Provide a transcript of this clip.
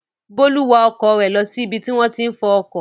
Bólú wa ọkọ̀ rẹ̀ lọ sí ibi tí wọ́n ti ń fọ ọkọ̀.